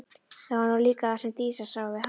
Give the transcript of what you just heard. Það var nú líka það sem Dísa sá við hann.